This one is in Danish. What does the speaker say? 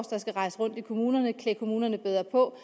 der skal rejse rundt i kommunerne og klæde kommunerne bedre på